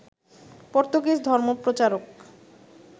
Portuguese ধর্মপ্রচারক